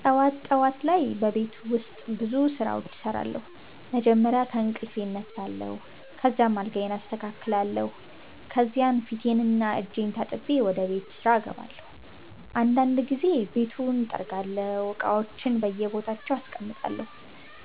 ጠዋት ጠዋት ላይ በቤት ውስጥ ብዙ ስራዎች እሰራለሁ። መጀመሪያ ከእንቅልፌ እነሳለሁ፣ ከዚያም አልጋዬን አስተካክላለሁ። ከዚያ ፊቴንና እጄን ታጥቤ ወደ ቤት ስራ እገባለሁ። አንዳንድ ጊዜ ቤቱን እጠርጋለሁ፣ እቃዎችንም በየቦታቸው አስቀምጣለሁ።